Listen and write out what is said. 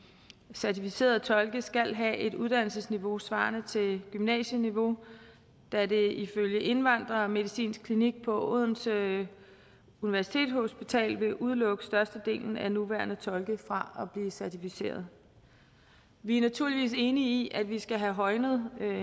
certificerede tolke skal have et uddannelsesniveau svarende til gymnasieniveau da det ifølge indvandrermedicinsk klinik på odense universitetshospital vil udelukke størstedelen af de nuværende tolke fra at blive certificerede vi er naturligvis enige i at vi skal have højnet